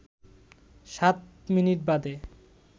সাত মিনিট বাদে